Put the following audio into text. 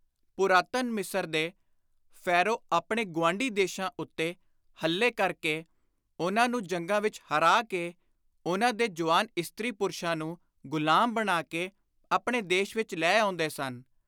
ਪੁਰਾਤਨ ਮਿਸਰ ਦੇ ਫੈਰੋ ਆਪਣੇ ਗੁਆਂਢੀ ਦੇਸ਼ਾਂ ਉੱਤੇ ਹੱਲੇ ਕਰ ਕੇ, ਉਨ੍ਹਾਂ ਨੂੰ ਜੰਗਾਂ ਵਿਚ ਹਰਾ ਕੇ, ਉਨ੍ਹਾਂ ਦੇ ਜੁਆਨ ਇਸਤ੍ਰੀ-ਪੁਰਸ਼ਾਂ ਨੂੰ ਗੁਲਾਮ ਬਣਾ ਕੇ ਆਪਣੇ ਦੇਸ਼ ਵਿਚ ਲੈ ਆਉਂਦੇ ਸਨ।